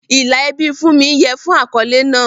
Ìlà ẹbí Funmi yẹ fún un fún àkọ́lé náà.